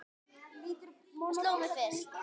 Það sló mig fyrst.